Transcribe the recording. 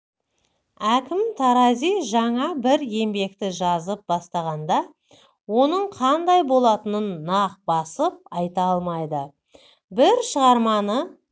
әкім тарази жаңа бір еңбекті жазып бастағанда онын қандай болатынын нақ басып айта алмайды бір шығарманы